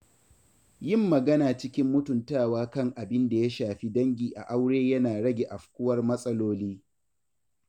Yin magana cikin mutuntawa kan abin da ya shafi dangi a aure yana rage afkuwar matsaloli.